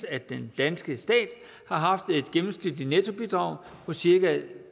at den danske stat har haft en gennemsnitligt nettobidrag på cirka